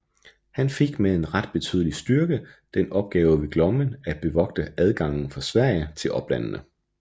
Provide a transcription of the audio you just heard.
Han fik med en ret betydelig styrke den opgave ved Glommen at bevogte adgangen fra Sverige til oplandene